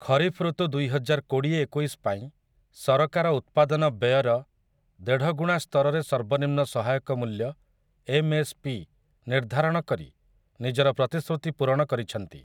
ଖରିଫ ଋତୁ ଦୁଇହଜାର କୋଡ଼ିଏ ଏକୋଇଶ ପାଇଁ ସରକାର ଉତ୍ପାଦନ ବ୍ୟୟର ଦେଢ଼ଗୁଣା ସ୍ତରରେ ସର୍ବନିମ୍ନ ସହାୟକ ମୂଲ୍ୟ, ଏମ୍ଏସ୍ପି, ନିର୍ଦ୍ଧାରଣ କରି ନିଜର ପ୍ରତିଶ୍ରୁତି ପୂରଣ କରିଛନ୍ତି ।